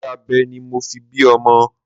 Iṣẹ́ abẹ ni mo fi bí ọmọ.